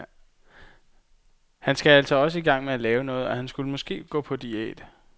Han skal altså også i gang med at lave noget, og han skulle måske gå på diæt.